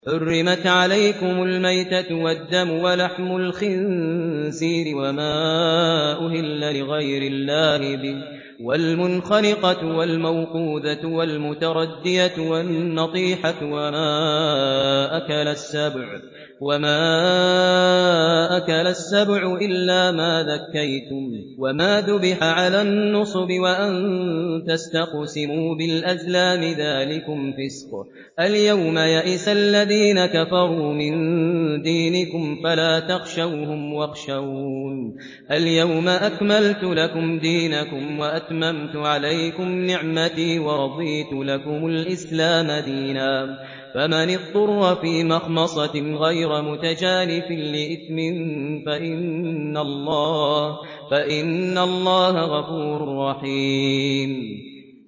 حُرِّمَتْ عَلَيْكُمُ الْمَيْتَةُ وَالدَّمُ وَلَحْمُ الْخِنزِيرِ وَمَا أُهِلَّ لِغَيْرِ اللَّهِ بِهِ وَالْمُنْخَنِقَةُ وَالْمَوْقُوذَةُ وَالْمُتَرَدِّيَةُ وَالنَّطِيحَةُ وَمَا أَكَلَ السَّبُعُ إِلَّا مَا ذَكَّيْتُمْ وَمَا ذُبِحَ عَلَى النُّصُبِ وَأَن تَسْتَقْسِمُوا بِالْأَزْلَامِ ۚ ذَٰلِكُمْ فِسْقٌ ۗ الْيَوْمَ يَئِسَ الَّذِينَ كَفَرُوا مِن دِينِكُمْ فَلَا تَخْشَوْهُمْ وَاخْشَوْنِ ۚ الْيَوْمَ أَكْمَلْتُ لَكُمْ دِينَكُمْ وَأَتْمَمْتُ عَلَيْكُمْ نِعْمَتِي وَرَضِيتُ لَكُمُ الْإِسْلَامَ دِينًا ۚ فَمَنِ اضْطُرَّ فِي مَخْمَصَةٍ غَيْرَ مُتَجَانِفٍ لِّإِثْمٍ ۙ فَإِنَّ اللَّهَ غَفُورٌ رَّحِيمٌ